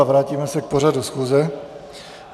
A vrátíme se k pořadu schůze.